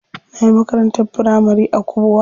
Nayi makarantar firamari a Kubwa.